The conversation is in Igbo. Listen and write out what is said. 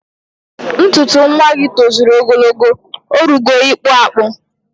Ntuntu nwagi toziri ogologo, orugo ikpu akpu